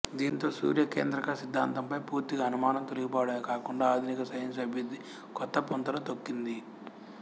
దీంతో సూర్య కేంద్రక సిద్ధాంతంపై పూర్తిగా అనుమానం తొలిగిపోవడమే కాకుండా ఆధునిక సైన్సు అభివృద్ధి కొత్త పుంతలు తొక్కింది